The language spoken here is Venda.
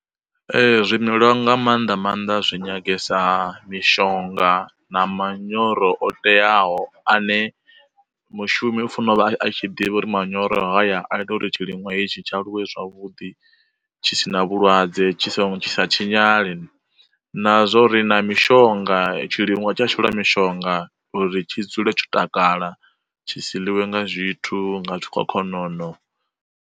Zwi melwa nga maanḓa maanḓa zwi nyangesa mishonga na manyoro o teaho, ane mushumi u fanela u vha a tshi ḓivha uri manyoro haya a ita uri tshi ḽiṅwa hetshi tshi aluwe zwavhuḓi, tshi sina vhulwadze tshi so tshi sa tshinyale, na zwa uri na mishonga tshi ḽiwa tsha shelwa mishonga uri tshi dzule tsho takala tshi si liwe nga zwithu nga zwikhokhonono.